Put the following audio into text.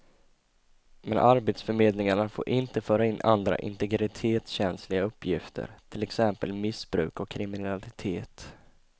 Men arbetsförmedlingarna får inte föra in andra integritetskänsliga uppgifter, till exempel missbruk och kriminalitet.